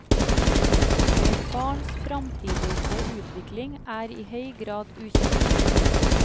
Et barns framtidige utvikling er i høy grad ukjent.